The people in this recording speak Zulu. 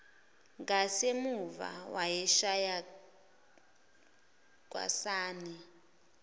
ngasemuva wayeshaya kwasani